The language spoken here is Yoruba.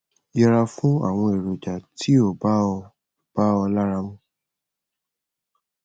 yẹra fún àwọn èròjà tí ò bá ọ bá ọ lára mu